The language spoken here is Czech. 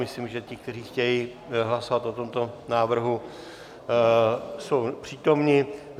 Myslím, že ti, kteří chtějí hlasovat o tomto návrhu, jsou přítomni.